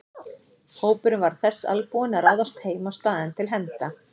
Hópurinn var þess albúinn að ráðast heim á staðinn til hefnda.